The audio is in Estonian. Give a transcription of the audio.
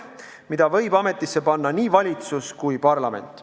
Eriprokuröri võib ametisse panna nii valitsus kui ka parlament.